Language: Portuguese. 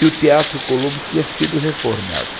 E o Teatro Colombo tinha sido reformado.